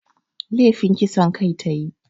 Lefin kisan kai ta yi